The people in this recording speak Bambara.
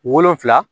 Wolonfila